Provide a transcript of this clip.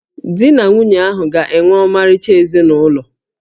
Di na nwunye ahụ ga-enwe ọmarịcha ezinụlọ